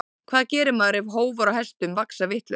Hvað gerir maður ef hófar á hestum vaxa vitlaust?